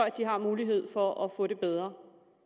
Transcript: de har mulighed for at få det bedre og